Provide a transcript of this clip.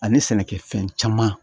Ani sɛnɛkɛfɛn caman